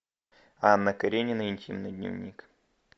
анна каренина интимный дневник